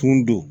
Kun don